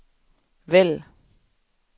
vælg